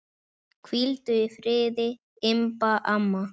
Hvíldu í friði, Imba amma.